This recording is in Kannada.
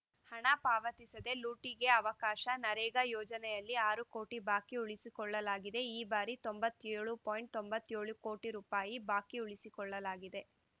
ಹಣ ಪಾವತಿಸದೆ ಲೂಟಿಗೆ ಅವಕಾಶ ನರೇಗಾ ಯೋಜನೆಯಲ್ಲಿ ಆರು ಕೋಟಿ ಬಾಕಿ ಉಳಿಸಿಕೊಳ್ಳಲಾಗಿದೆ ಈ ಬಾರಿ ತೊಂಬತ್ಯೋಳು ಪಾಯಿಂಟ್ ತೊಂಬತ್ಯೋಳು ಕೋಟಿ ರೂಪಾಯಿ ಬಾಕಿ ಉಳಿಸಿಕೊಳ್ಳಲಾಗಿದೆ